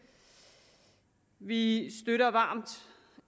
vi støtter varmt